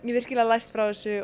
virkilega lært frá þessu og